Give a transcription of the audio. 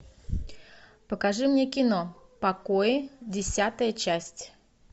покажи мне кино покой десятая часть